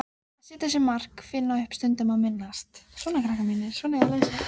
Hafði aðalbækistöðvar sínar um borð í henni.